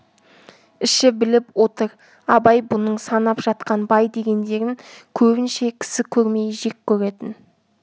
іші біліп отыр абай бұның санап жатқан бай дегендерін көбінше кісі көрмей жек көретін